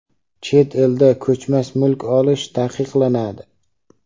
chet elda ko‘chmas mulk olishi taqiqlanadi.